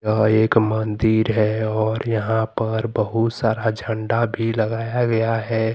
यह एक मंदिर है और यहां पर बहुत सारा झंडा भी लगाया गया है।